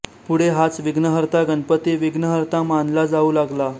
पुढे हाच विघ्नकर्ता गणपती विघ्नहर्ता मानला जाऊ लागला